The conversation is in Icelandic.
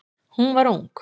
Hún var ung.